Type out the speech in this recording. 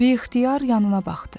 Biixtiyar yanına baxdı.